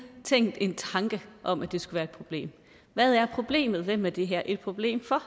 tænkt en tanke om at det skulle være et problem hvad er problemet hvem er det her et problem for